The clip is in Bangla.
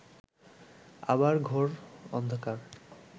আবার ঘোর অন্ধকার